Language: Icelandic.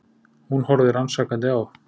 Hún horfði rannsakandi á